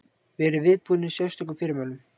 Verið viðbúnir sérstökum fyrirmælum.